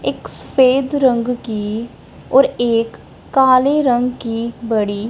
एक सफेद रंग की और एक काली रंग की बड़ी--